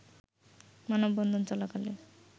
মানববন্ধন চলাকালে